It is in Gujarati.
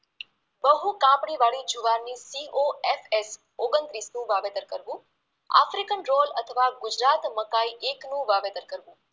બહુ કાપણી વાળી જુવારની POSH ઓગણત્રીસનું વાવેતર કરવુ, આફ્રિકન રોલ અથવા ગુજરાત મકાઈ એકનું વાવેતર કરવુ